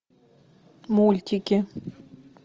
мультики